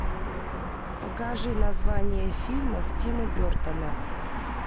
покажи названия фильмов тима бертона